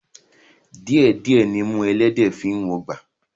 Díẹ̀ díẹ̀ nimú ẹlẹ́dẹ̀ẹ́ fi ń wọgbà